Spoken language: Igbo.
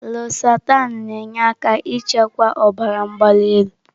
Lọsahtanị na-enyere aka ịchịkwa ọbara mgbali elu.